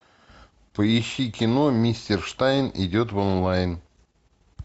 поищи кино мистер штайн идет в онлайн